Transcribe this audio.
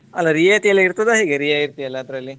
ಅಲ್ಲ ರಿಯಾಯಿತಿ ಎಲ್ಲ ಇರ್ತದಾ ಹೇಗೆ ರಿಯಾಯಿತಿ ಎಲ್ಲ ಅದ್ರಲ್ಲಿ.